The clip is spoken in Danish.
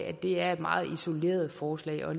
at det er et meget isoleret forslag og